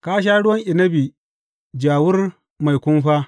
Ka sha ruwan inabi ja wur mai kumfa.